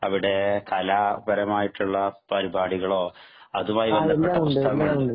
അവിടെ കലാപരമായിട്ടുള്ള പരിപാടികളോ അതുമായി ബന്ധപ്പെട്ടിട്ടുള്ള ഉണ്ടോ